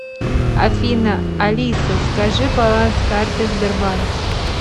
афина алиса скажи баланс карты сбербанк